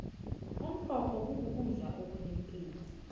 umrorho kukudla okunepilo